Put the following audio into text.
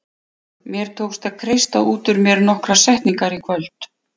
Mér tókst að kreista út úr mér nokkrar setningar í kvöld.